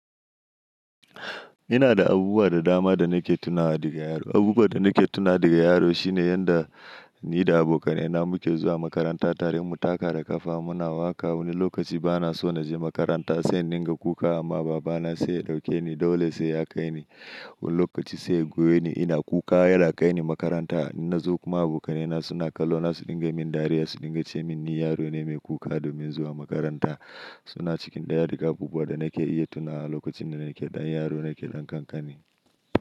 Ina da abubuwa da dama da nake tunawa da ga yaro. Abubuwa da nake tunawa da ga yaro shine yadda ni da abokanai na muke zuwa makaranta tare mu taka da ƙafa. Muna waƙa. Wani lokaci bana so na je makaranta sai in dinga kuka amma baba na sai ya ɗauke ni, dole sai ya kai ni. Wani lokaci sai ya goye ni ina kuka yana ya kai ni makaranta. In na zo kuma abokanai na suna kallo na, su dinga min dariya, su dinga ce min ni yaro ne mai kuka domin zuwa makaranta. Suna cikin daya daga abubuwa da nake iya tunawa lokacin da nake ɗan yaro, nake ɗan ƙanƙani.